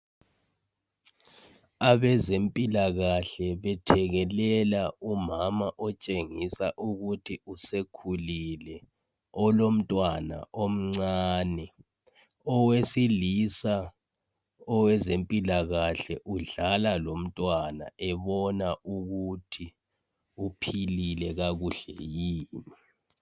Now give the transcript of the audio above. Abezempikakahle bethekelela umama otshengisa ukuthi usekhulile, olomntwana omncane. Owesilisa, owezempilakahle, udlala lomntwana ebona ukuthi uphilile kakuhle yini?